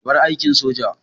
Ka bar aikin soja!